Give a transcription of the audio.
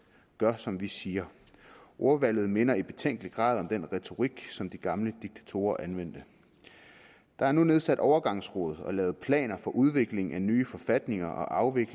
gør som vi siger ordvalget minder i betænkelig grad om den retorik som de gamle diktatorer anvendte der er nu nedsat overgangsråd og lavet planer for udvikling af nye forfatninger og